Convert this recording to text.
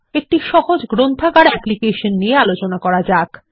একটি সহজ গ্রন্থাগার অ্যাপ্লিকেশন নিয়ে আলোচনা করা যাক